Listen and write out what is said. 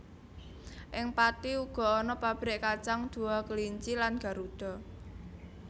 Ing Pathi uga ana pabrik kacang Dua Kelinci lan Garuda